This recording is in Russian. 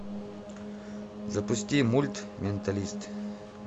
запусти мульт менталист